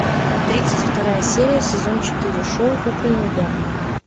тридцать вторая серия сезон четыре шоу кукольный дом